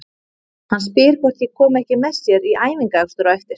Hann spyr hvort ég komi ekki með sér í æfingaakstur á eftir.